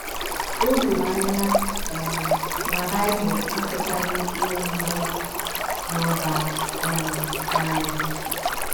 O doro anya um na Bible akatọghị ịṅụ mmanya na - aba um n’anya.